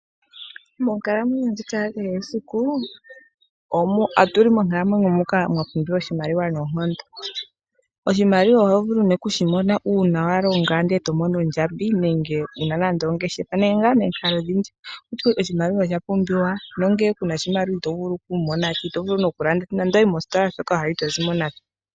Moonkalamwenyo ndjika ya kehe esiku otu li monkalamwenyo muka mwapumbiwa oshimaliwa noonkondo. Oshimaliwa oho vulu nee oku shimona una wa longa ndele tomono ondjambi nenge wu na nande ongeshefa nenge ngaa momikalo odhindji. Oshimaliwa oshapumbiwa nonkene ngele ku na oshimaliwa ito vulu noku landa oshinima shontumba nenge ngele wa yi mositola shoka wa hala itozi mo nasho oshoka kuna iimaliwa.